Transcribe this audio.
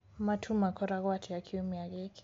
matuu magokwo atĩa kĩumĩa giki